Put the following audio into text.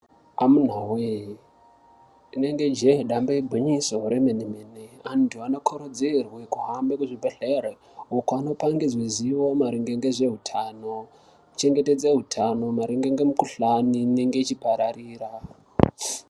Amunaa wee inenge jee damba igwinyiso remene mene antu anokurudzirwe kuhambe kuzvibhedhleri uko ano pangidzwe ziwo maringe ngezveutano chengetedze utano maringe ngemukhuhlani inenge ichipararira.